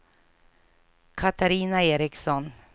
Catarina Eriksson